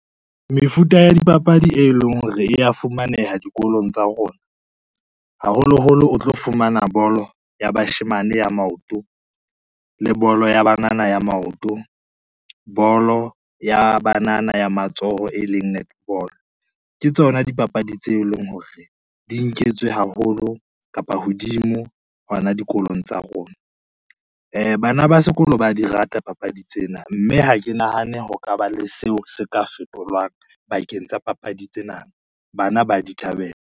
Mefuta ya dipapadi, e leng hore e ya fumaneha dikolong tsa rona, haholoholo o tlo fumana bolo ya bashemane ya maoto, le bolo ya banana ya maoto, bolo ya banana ya matsoho e leng netball. Ke tsona dipapadi tseo e leng hore di nketswe haholo kapa hodimo hona dikolong tsa rona. Bana ba sekolo ba di rata papadi tsena, mme ha ke nahane ho ka ba le seo se ka fetolwang bakeng tsa papadi tsena, bana ba di thabela.